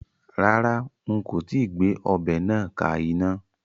Rárá, n kò tíì gbé ọbẹ̀ náà ka iná